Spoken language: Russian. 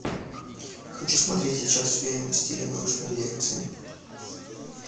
хочу смотреть сейчас фильм в стиле научной лекции